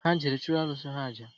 Ha jere chụrụ arụsị ha àjà